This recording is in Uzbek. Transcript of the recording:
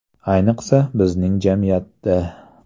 Ayniqsa, bizning jamiyatda.